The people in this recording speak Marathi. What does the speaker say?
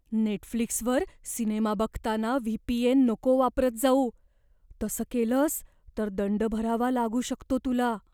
नेटफ्लिक्सवर सिनेमा बघताना व्ही.पी.एन. नको वापरत जाऊ. तसं केलंस तर दंड भरावा लागू शकतो तुला.